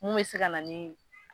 Mun bɛ se ka na ni